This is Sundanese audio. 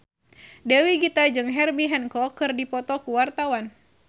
Dewi Gita jeung Herbie Hancock keur dipoto ku wartawan